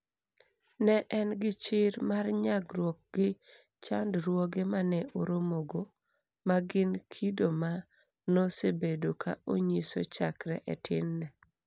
Ne en gi chir mar nyagruok gi chandruoge ma ne oromogo, ma gin kido ma nosebedo ka onyiso chakre e tinne.